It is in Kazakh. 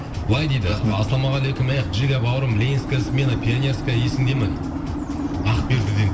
былай дейді ассалаумағалейкум эх жига бауырым ленинская смена пионерская есіңде ме дейді ақбердіден